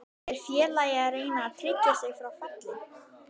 Er félagið að reyna að tryggja sig frá falli?